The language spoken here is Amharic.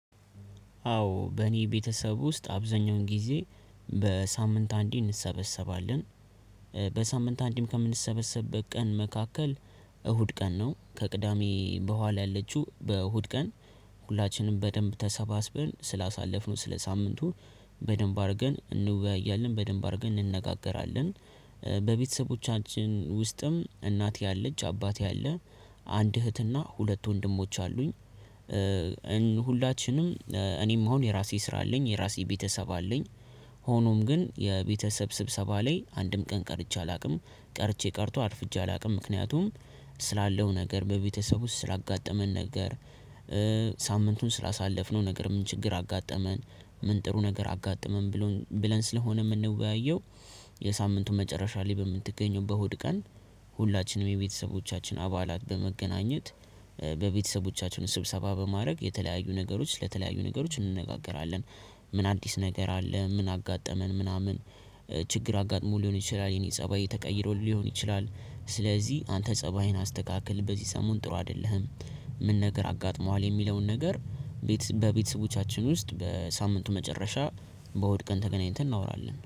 አዎ በእኔ ቤተሰብ ውስጥ አብዛኛውን ጊዜ በሳምንት አንዴ እንሰበሰባለን። በሳምንት አንድም ከምንሰበሰብበት ቀን መካከል እሁድ ቀን ነው። ከቅዳሜ በኋላ ያለችው በእሁድ ቀን ሁላችንም በደንብ ተሰባስበን ስላሳለፍነው ስለሳምንቱ በደንብ አድርገን እንወያያለን በደንብ አድርገን እንነጋገራለን። በቤተሰቦቻችን ውስጥም እናቴ አለች አባቴ አለ አንድ እህትና ሁለት ወንድሞች አሉኝ። ሁላችንም እኔም አሁን የራሴ ስራ አለኝ የራሴ ቤተሰብ አለኝ። ሆኖም ግን የቤተሰብ ስብሰባ ላይ አንድም ቀን ቀርቼ አላውቅም ቀርቼ ቀርቶ አርፍቼ አላውቅም ምክንያቱም። ስላለው ነገር በቤተሰብ ውስጥ ስላጋጠመን ነገር። ሳምንቱን ስላሳለፍነው ነገር ምን ችግር አጋጠመን ምን ጥሩ ነገር አጋጠመን ብለን ስለሆነ የምንወያየው። የሳምንቱ መጨረሻ ላይ በምትገኘው በእሁድ ቀን። ሁላችንም የቤተሰቦቻችን አባላት በመገናኘት በቤተሰቦቻችን ስብሰባ በማድረግ የተለያዩ ነገሮች ለተለያዩ ነገሮች እንነጋገራለን። ምን አዲስ ነገር አለ ምን አጋጠመን ምናምን? ችግር አጋጥሞ ሊሆን ይችላል የኔ ፀባይ ተቀይሮ ሊሆን ይችላል ስለዚህ አንተ ፀባይን አስተካክል በዚህ ሰሞን ጥሩ አይደለህም። ምን ነገር አጋጥሞሃል የሚለውን ነገር? በቤተሰቦቻችን ውስጥ በሳምንቱ መጨረሻ በእሁድ ቀን ተገናኝተን እናወራለን